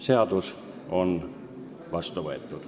Seadus on vastu võetud.